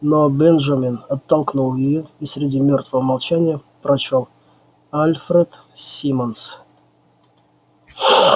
но бенджамин оттолкнул её и среди мёртвого молчания прочёл альфред симмонс